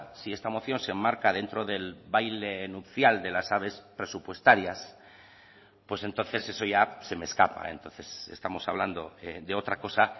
si esta moción se enmarca dentro del baile nupcial de las aves presupuestarias pues entonces eso ya se me escapa entonces estamos hablando de otra cosa